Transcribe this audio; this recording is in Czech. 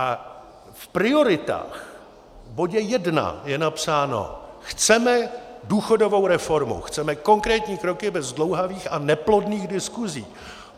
A v prioritách v bodě 1 je napsáno: Chceme důchodovou reformu, chceme konkrétní kroky bez zdlouhavých a neplodných diskusí.